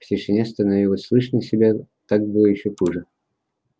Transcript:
в тишине становилось слышно себя так было ещё хуже